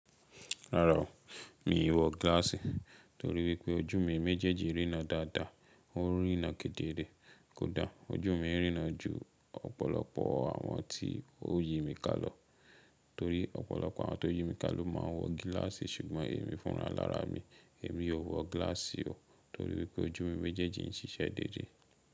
Rárá o, mi n wọ gíláàsì torí wípé ojú mi méjèèjì rína dáadáa, ó rína kedere kódà ojú mi n rína ju ọ̀pọ̀lọpọ̀ àwọn tí ó yi mi ká lọ torí ọ̀pọ̀lọpọ̀ àwọn tó yi mi ká ló ma n wọ gíláàsì ṣùgbọ́n èmi fúnra lára mi, èmi ò n wọ gíláàsì o torí wípé ojú mi méjèèjì ń ṣiṣẹ́ déédé.